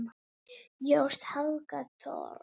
Þín Helga Thors.